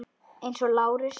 Eins og Lárus.